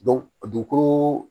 dugukolo